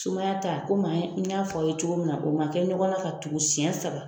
Sumaya ta komi an n y'a fɔ a ye cogo min na o ma kɛ ɲɔgɔnna ka tugu senɲɛ saba